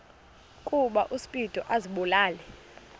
ukuba uspido azibulale